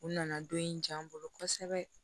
U nana don in ja an bolo kosɛbɛ